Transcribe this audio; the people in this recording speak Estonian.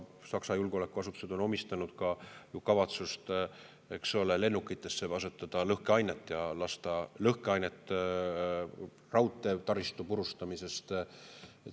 Saksa julgeolekuasutused on omistanud ka kavatsust asetada lõhkeainet lennukitesse ja raudteetaristu purustamiseks.